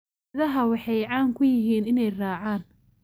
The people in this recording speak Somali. Idaha waxay caan ku yihiin inay raacaan.